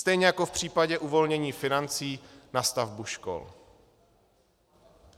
Stejně jako v případě uvolnění financí na stavbu škol.